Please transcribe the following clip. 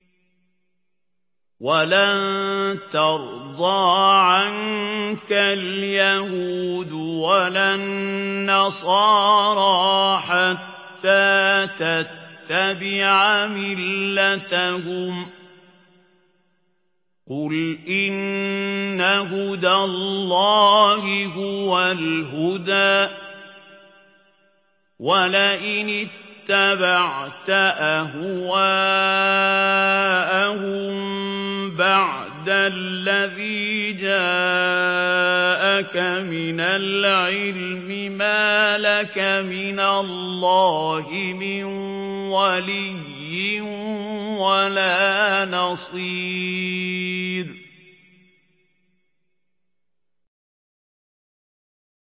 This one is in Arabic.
وَلَن تَرْضَىٰ عَنكَ الْيَهُودُ وَلَا النَّصَارَىٰ حَتَّىٰ تَتَّبِعَ مِلَّتَهُمْ ۗ قُلْ إِنَّ هُدَى اللَّهِ هُوَ الْهُدَىٰ ۗ وَلَئِنِ اتَّبَعْتَ أَهْوَاءَهُم بَعْدَ الَّذِي جَاءَكَ مِنَ الْعِلْمِ ۙ مَا لَكَ مِنَ اللَّهِ مِن وَلِيٍّ وَلَا نَصِيرٍ